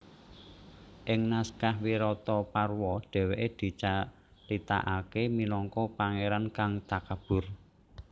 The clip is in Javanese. Ing naskah Wirataparwa dhéwékè dicaritakaké minangka pangéran kang takabur